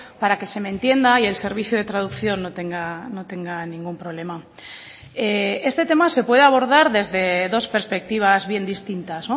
para que se me entienda y el servicio de traducción no tenga ningún problema este tema se puede abordar desde dos perspectivas bien distintas